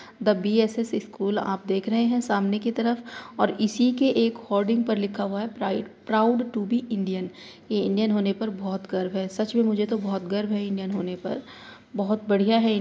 The BSS. School आप देख रहे हैं सामने की तरफ और इसी के एक होर्डिग पर लिखा हुआ है pride proud to be Indian Indian होने पर बहुत गर्व है। सच में मुझे तो बहुत गर्व है इंडियन होने पर बहुत बढ़िया है --